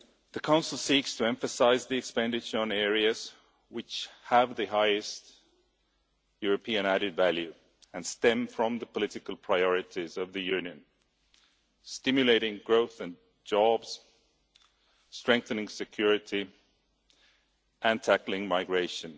The Council seeks to emphasise the expenditure on areas which have the highest European added value and stem from the political priorities of the Union stimulating growth and jobs, strengthening security and tackling migration.